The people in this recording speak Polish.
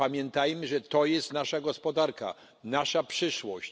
Pamiętajmy, że to jest nasza gospodarka, nasza przyszłość.